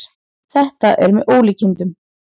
Þetta er með ólíkindum